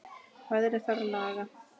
Veðrið þarf að laga.